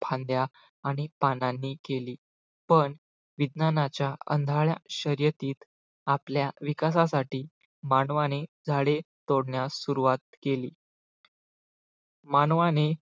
फांद्या आणि पानांनी केली पण विज्ञानाच्या आंधळ्या शर्यतीत आपल्या विकासासाठी मानवाने झाडे तोडण्यास सुरुवात केली मानवाने